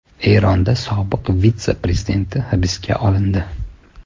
Eronda sobiq vitse-prezident hibsga olindi.